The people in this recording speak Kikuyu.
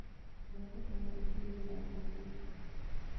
ndakũhoya ũkĩrĩe ĩthaa rĩũkĩte